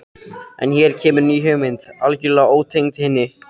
En hér kemur ný hugmynd, algjörlega ótengd hinni.